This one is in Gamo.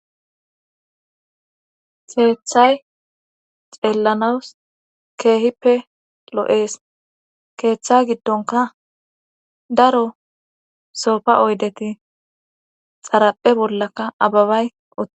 Keeththay xeellanawus keehippe loo'ees keeththa giddonka daro sopfa oydeti xaraphe bollaka ababay otte.